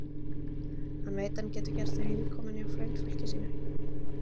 Hann veit að hann getur gert sig heimakominn hjá frændfólki sínu.